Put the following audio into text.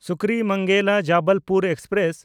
ᱥᱩᱠᱨᱤᱢᱚᱱᱜᱮᱞᱟ–ᱡᱚᱵᱚᱞᱯᱩᱨ passenger